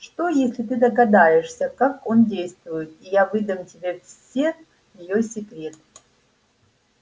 что если ты догадаешься как он действует и я выдам тебе все её секреты